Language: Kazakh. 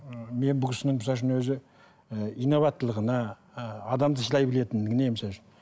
ы мен бұл кісінің өзі і инабаттылығына ы адамды сыйлай білетіндігіне